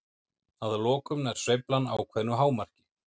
Að lokum nær sveiflan ákveðnu hámarki.